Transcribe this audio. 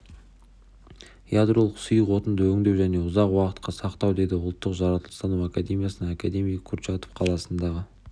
ядролық сұйық отынды өңдеу және ұзақ уақытқа сақтау деді ұлттық жаратылыстану академиясының академигі курчатов қаласындағы